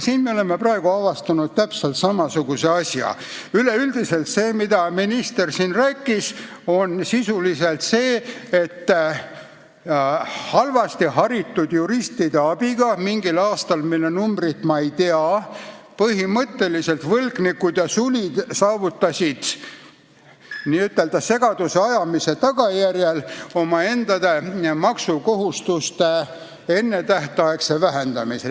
Üleüldiselt aga rääkis minister siin sellest, et halvasti haritud juristide abiga saavutasid võlgnikud ja sulid mingil aastal, mille numbrit ma ei tea, n-ö segaduse tekitamise tagajärjel oma maksukohustuste ennetähtaegse vähendamise.